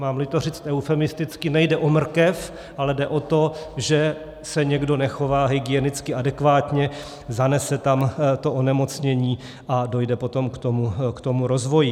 Mám-li to říct eufemisticky, nejde o mrkev, ale jde o to, že se někdo nechová hygienicky adekvátně, zanese tam onemocnění a dojde potom k tomu rozvoji.